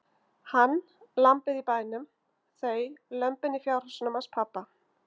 Hann, lambið í bænum, þau lömbin í fjárhúsunum hans pabba.